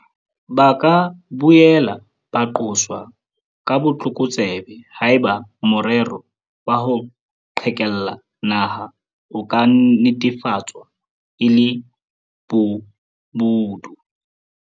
Ba ka boela ba qoswa ka botlokotsebe haeba morero wa ho qhekella naha o ka netefatswa e le bobodu.